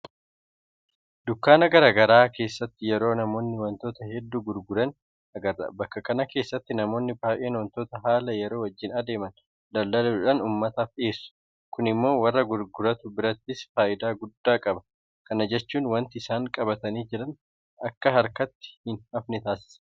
Dukkaana garaa garaa keessatti yeroo namoonni waantota hedduu gurguran agarra. Bakka kana keessatti namoonni baay'een waantota haala yeroo wajjin adeeman daldaluudhaan uummataaf dhiyeessu. Kun immoo warra gurguratu birattis faayidaa guddaa qaba. Kana jechuun waanti isaan qabatanii jiran akka harkatti hinafne taasisa.